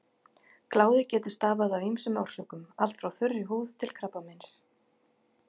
Kláði getur stafað af ýmsum orsökum, allt frá þurri húð til krabbameins.